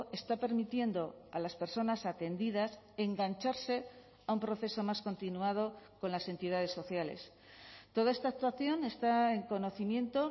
está permitiendo a las personas atendidas engancharse a un proceso más continuado con las entidades sociales toda esta actuación está en conocimiento